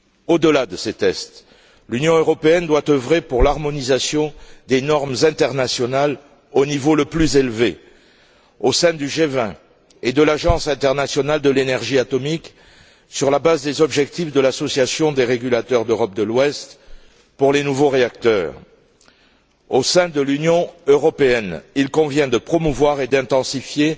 Au delà de ces tests, l'Union européenne doit œuvrer pour l'harmonisation des normes internationales au niveau le plus élevé, au sein du G20 et de l'Agence internationale de l'énergie atomique, sur la base des objectifs de l'association des régulateurs d'Europe de l'ouest pour les nouveaux réacteurs. Au sein de l'Union européenne, il convient de promouvoir et d'intensifier